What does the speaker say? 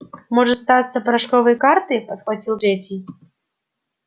может статься порошковые карты подхватил третий